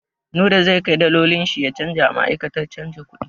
Nura zai kai dalolin shi ya canja a ma'aikatar canja kuɗi.